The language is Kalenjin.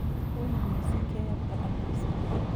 uii misiing keyapta anosmia